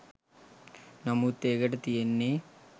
නමුත් ඒකට තියෙන්නෙ